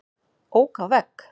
Ók á vegg